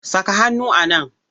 Saka hannu a nan!